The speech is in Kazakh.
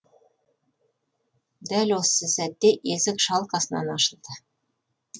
дәл осы сәтте есік шалқасынан ашылды